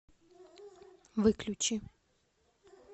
выключи